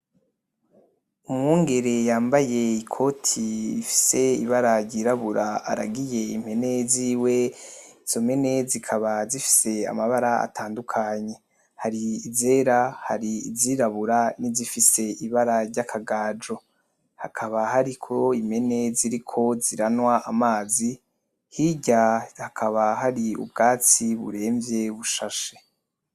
Umwungere yambaye ikoti rifise ryirabura aragiye impene ziwe ,izo mpene zikaba zifise amabara atandukanye, hari izera, hari. izirabura, nizifise ibara ryakagaju, hakaba harimo impene kiriko ziranywa amazi, hirya hakaba hari ubgatsi burenvye bushashe.